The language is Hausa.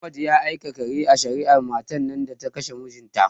Ahmad ya aka kare a shari'ar matan nan da ta kashe mijinta?